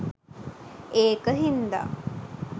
ඒක හින්දා